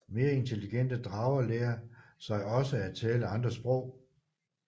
Mere intelligente drager lærer sig også at tale andre sprog